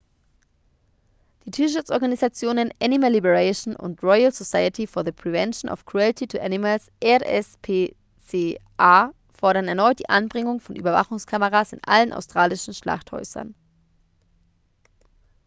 die tierschutzorganisationen animal liberation und royal society for the prevention of cruelty to animals rspca fordern erneut die anbringung von überwachungskameras in allen australischen schlachthäusern